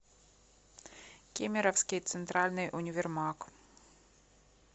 кемеровский центральный универмаг